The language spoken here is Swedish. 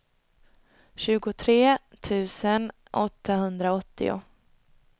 tjugotre tusen åttahundraåttio